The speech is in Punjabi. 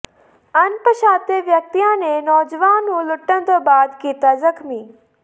ਅਣਪਛਾਤੇ ਵਿਅਕਤੀਆਂ ਨੇ ਨੌਜਵਾਨ ਨੂੰ ਲੁੱਟਣ ਤੋਂ ਬਾਅਦ ਕੀਤਾ ਜ਼ਖ਼ਮੀ